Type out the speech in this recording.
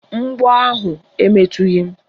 Mgbọ ahụ emetughi m